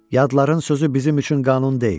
Yadların sözü bizim üçün qanun deyil.